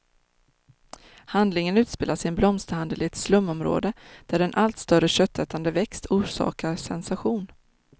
Handlingen utspelas i en blomsterhandel i ett slumområde, där en allt större köttätande växt orsakar sensation.